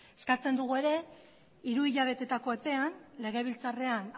eskatzen dugu ere hiru hilabeteko epean legebiltzarrean